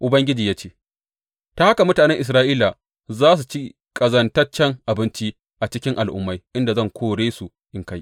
Ubangiji ya ce, Ta haka mutanen Isra’ila za su ci ƙazantaccen abinci a cikin al’ummai inda zan kore su in kai.